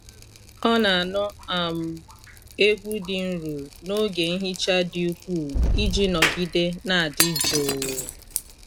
Ọ na-anụ um egwu dị nro n’oge nhicha dị ukwuu iji nọgide na-adị jụụ.